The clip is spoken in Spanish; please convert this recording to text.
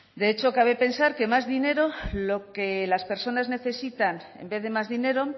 de hecho cabe pensar que lo que las personas necesitan en vez de más dinero